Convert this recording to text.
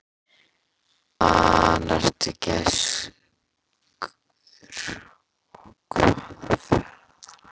Hvaðan ertu, gæskur, og hvaða ferðalag er á þér?